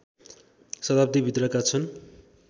शताब्दीभित्रका छन्